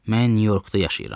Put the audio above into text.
Mən Nyu-Yorkda yaşayıram.